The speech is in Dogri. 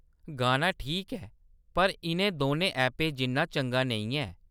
गाना ठीक ऐ, पर इʼनें दौनें ऐपें जिन्ना चंगा नेईं ऐ।